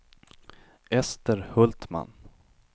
Ester Hultman